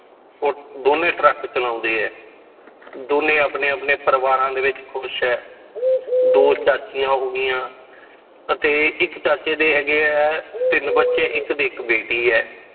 ਉਹ ਦੋਨੇਂ ਟਰੱਕ ਚਲਾਉਂਦੇ ਹੈ, ਦੋਨੇਂ ਆਪਣੇ ਆਪਣੇ ਪਰਿਵਾਰਾਂ ਦੇ ਵਿੱਚ ਖ਼ੁਸ਼ ਹੈ ਦੋ ਚਾਚੀਆਂ ਹੋ ਗਈਆਂ ਅਤੇ ਇੱਕ ਚਾਚੇ ਦੇ ਹੈਗੇ ਹੈ ਤਿੰਨ ਬੱਚੇ, ਇੱਕ ਦੇ ਇੱਕ ਬੇਟੀ ਹੈ